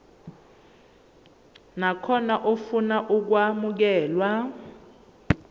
nakhona ofuna ukwamukelwa